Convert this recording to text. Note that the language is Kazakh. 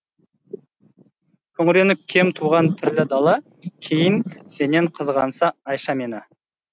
күңіреніп кем туған пірлі дала кейін сенен қызғанса айша мені